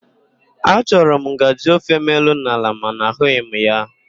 A chọrọ m ngajị ofem elu na ala mana ahụghị m ya.